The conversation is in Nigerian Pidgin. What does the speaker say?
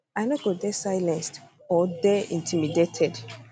i no go dey silenced or dey intimidated